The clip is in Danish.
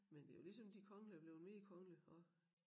Men det jo ligesom de kongelige er blevet mere kongelige også